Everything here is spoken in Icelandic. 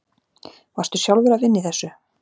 Varstu sjálfur að vinna í þessu?